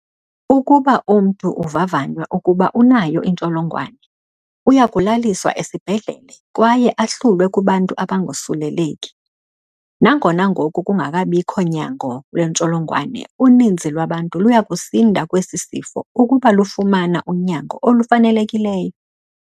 Ukuba umntu uvavanywa ukuba unayo intsholongwane, uyakulaliswa esibhedlele kwaye ahlulwe kubantu abangosuleleki. Nangona ngoku kungabikho nyango intsholongwane, uninzi lwabantu luyakusinda esi sifo ukuba lufumana unyango olufanelekileyo.